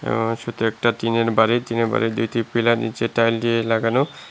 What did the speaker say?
আ শুধু একটা টিনের বাড়ি টিনের বাড়ির দুইটি পিলার নিচে টাইল দিয়ে লাগানো।